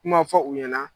Kuma fɔ u ɲɛna